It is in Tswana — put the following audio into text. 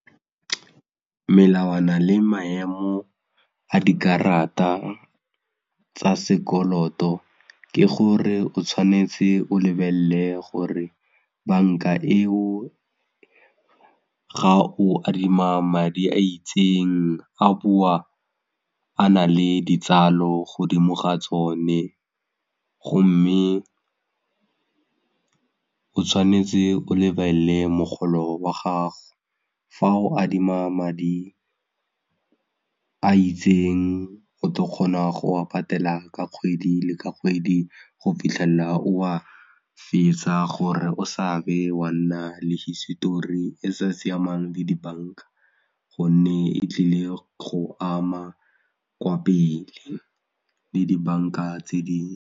Melawana le maemo a dikarata tsa sekoloto ke gore o tshwanetse o lebelle gore bank-a eo ga o adima madi a itseng a boa a na le ditsala godimo ga tsone gomme o tshwanetse o lebelle mogolo wa gago fa o adima madi a itseng o tla kgona go wa patela ka kgwedi le ka kgwedi go fitlhella o a fetsa gore o sa be wa nna le hisetori e sa siamang le dibanka gonne e tlile go ama kwa pele le dibanka tse dingwe.